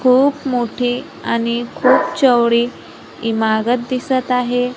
खूप मोठी आणि खूप चवली इमारत दिसत आहे.